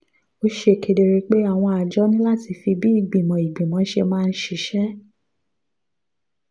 ó ṣe kedere pé àwọn àjọ ní láti fi bí ìgbìmọ̀ ìgbìmọ̀ ṣe máa ń ṣiṣẹ́